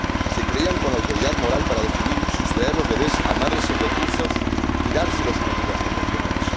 Se creían con la autoridad moral para decidir sustraer los bebés a madres sin recursos y dárselos a familias convencionales.